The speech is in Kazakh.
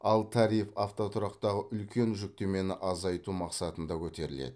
ал тариф автотұрақтағы үлкен жүктемені азайту мақсатында көтеріледі